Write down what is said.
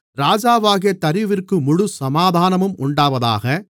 ராஜாவாகிய தரியுவிற்கு முழு சமாதானமும் உண்டாவதாக